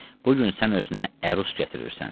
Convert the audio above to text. Bu gün sən özünə ərus gətirirsən.